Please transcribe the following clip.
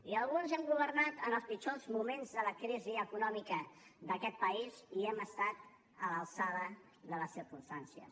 i alguns hem governat en els pitjors moments de la crisi econòmica d’aquest país i hem estat a l’alçada de les circumstàncies